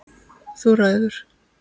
Þú ræður.